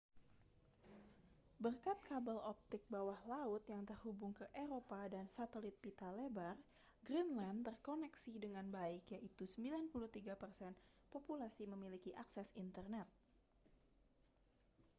berkat kabel optik bawah laut yang terhubung ke eropa dan satelit pita lebar greenland terkoneksi dengan baik yaitu 93% populasi memiliki akses internet